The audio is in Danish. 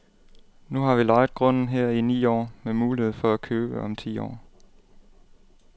Nu har vi lejet grunden her i ni år med mulighed for at købe om ti år.